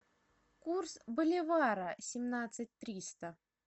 курс боливара семнадцать триста